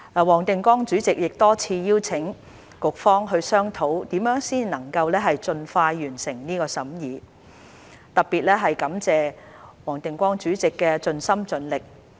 黃定光主席亦多次邀請局方商討怎樣才能夠盡快完成這審議，特別要感謝黃定光主席的盡心盡力。